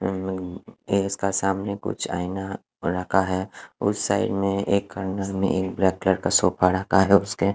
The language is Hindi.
एक इसका सामने कुछ आइना रखा है उस साइड में एक खंडर में एक ब्लैक कलर का सोफा रखा है उसके--